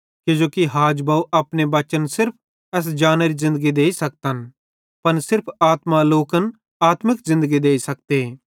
किजोकि हाजबव अपने बच्चन सिर्फ एस जानेरी ज़िन्दगी देइ सकतन पन सिर्फ पवित्र आत्मा लोकन आत्मिक ज़िन्दगी देइ सकते